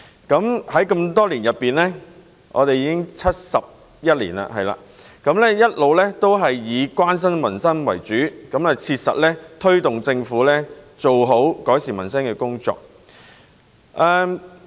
工聯會成立至今71年，一直以關心民生為主，切實推動政府做好改善民生的工作。